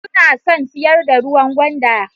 Suna son siyar da ruwan gwanda